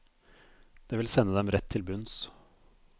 Det vil sende dem rett til bunns.